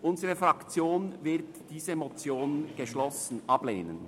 Unsere Fraktion wird diese Motion geschlossen ablehnen.